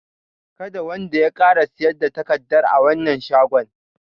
Kada wanda ya ƙara siyar da takardar a wannan shagon!